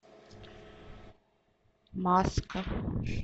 маска